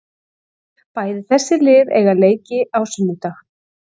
Bæði þessi lið eiga leiki á sunnudag.